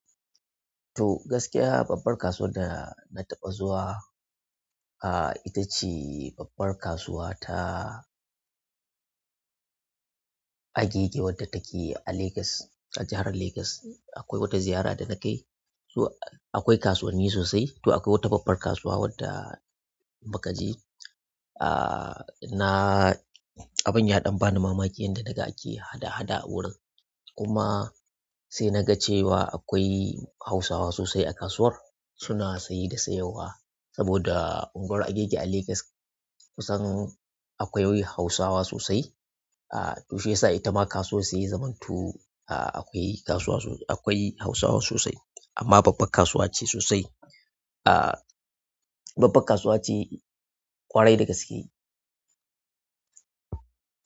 To gaskiya babbar kasuwar da na taɓa zuwa, ah ita ce babbar kasuwa ta Agege wadda take a Legas, a jahar Legas. Akwai wata ziyara da na kai, to akwai kasuwanni sosai. To akwai wata babbar kasuwa wadda mukaje. Ah, na abun ya ɗan bani mamaki, yanda daga ake hada-hada wuri. Kuma sai na ga cewa akwai Hausawa sosai a kasuwar, suna saye da sayarwa. Saboda unguwar Agege a Legas kusan akwai Hausawa sosai. Ah, toh shi yasa ita ma kasuwa sai zamanto, ah akwai kasuwa sos-- akwai Hausawa sosai. Amma babbar kasuwa ce sosai. Ah, babbar kasuwa ce ƙwarai da gaske.